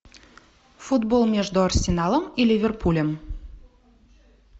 футбол между арсеналом и ливерпулем